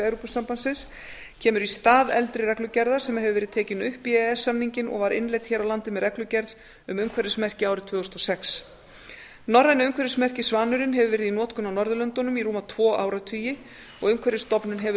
evrópusambandsins kemur í stað eldri reglugerðar sem hefur verið tekin upp í e e s samninginn og var innleidd hér á landi með reglugerð um umhverfismerki árið tvö þúsund og sex norræna umhverfismerkið svanurinn hefur verið í notkun á norðurlöndunum í rúma tvo áratugi umhverfisstofnun hefur